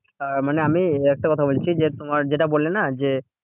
আহ মানে আমি একটা কথা বলছি যে, তোমার যেটা বললে না যে,